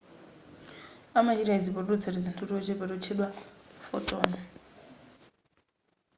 amachita izi potulutsa tizinthu tochepa totchedwa photon